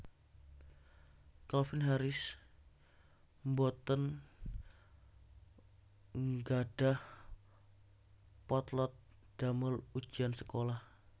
Calvin Harris mboten nggadhah potlot damel ujian sekolah